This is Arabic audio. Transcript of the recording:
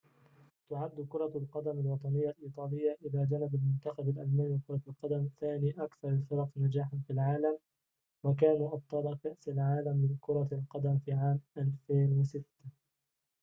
تعد كرة القدم الوطنية الإيطالية إلى جانب المنتخب الألماني لكرة القدم ثاني أكثر الفرق نجاحاً في العالم وكانوا أبطال كأس العالم لكرة القدم في عام 2006